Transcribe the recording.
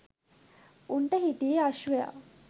උන්ට හිටියේ අශ්වයා.